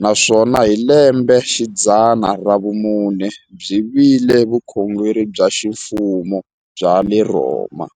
naswona hi lembexidzana ra vumune byi vile vukhongeri bya ximfumo bya le Rhoma.